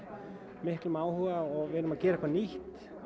miklum áhuga og við erum að gera eitthvað nýtt